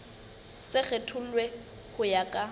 se kgethollwe ho ya ka